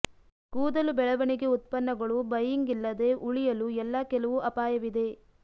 ಕೂದಲು ಬೆಳವಣಿಗೆ ಉತ್ಪನ್ನಗಳು ಬೈಯಿಂಗ್ ಇಲ್ಲದೆ ಉಳಿಯಲು ಎಲ್ಲಾ ಕೆಲವು ಅಪಾಯವಿದೆ